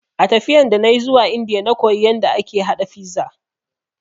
A tafiyan da nayi zuwa Indiya na koyi yanda ake ha fiza